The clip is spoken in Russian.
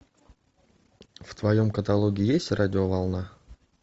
в твоем каталоге есть радиоволна